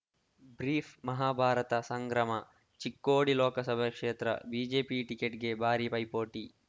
brief Mahabharata ಸಂಗ್ರಮ Chikkodi ಲೋಕಸಭೆ ಕ್ಷೇತ್ರ BJP ಟಿಕೆಟ್‌ಗೆ ಭಾರೀ ಪೈಪೋಟಿ